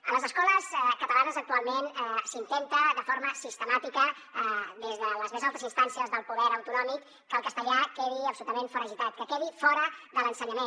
a les escoles catalanes actualment s’intenta de forma sistemàtica des de les més altes instàncies del poder autonòmic que el castellà quedi absolutament foragitat que quedi fora de l’ensenyament